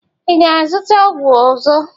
Ị ga-azụta ọgwụ ọzọ?